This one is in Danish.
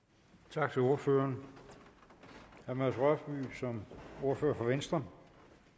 tak til ordføreren herre mads rørvig som ordfører for venstre